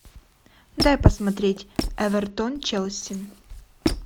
дай посмотреть эвертон челси